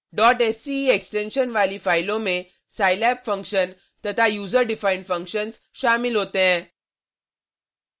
sce extension वाली फाइलों में scilab फंक्शन तथा user defined फंक्शन्स शामिल होते हैं